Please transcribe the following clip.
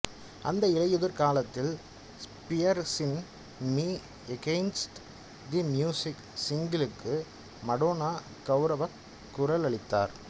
அந்த இலையுதிர் காலத்தில் ஸ்பியர்ஸின் மீ எகெய்ன்ஸ்ட் தி மியூசிக் சிங்கிளுக்கு மடோனா கவுரவக் குரல் அளித்தார்